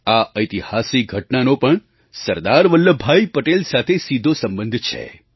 આ ઐતિહાસિક ઘટનાનો પણ સરદાર વલ્લભભાઈ પટેલ સાથે સીધો સંબંધ છે